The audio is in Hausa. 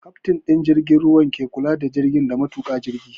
Kaftin ɗin jirgin ruwa ke kula da jirgin da matuƙa jirgin